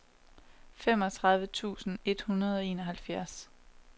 femogtredive tusind et hundrede og enoghalvfjerds